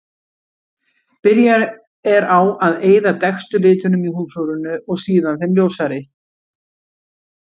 Byrjað er á að eyða dekkstu litunum í húðflúrinu og síðan þeim ljósari.